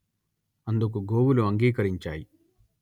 అందుకు గోవులు అంగీకరించాయి